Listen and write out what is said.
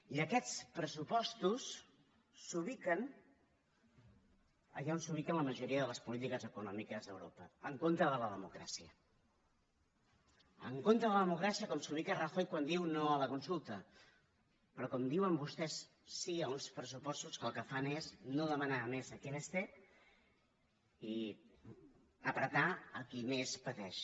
i aquests pressupostos s’ubiquen allà on s’ubiquen la majoria de les polítiques econòmiques d’europa en contra de la democràcia en contra de la democràcia com s’hi ubica rajoy quan diu no a la consulta però com diuen vostès sí a uns pressupostos que el que fan és no demanar més a qui més té i apretar qui més pateix